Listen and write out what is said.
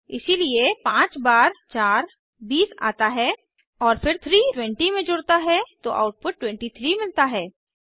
इसीलिए पांच बार चार बीस आता है और फिर 3 20 में जुड़ता है तो आउटपुट 23 मिलता है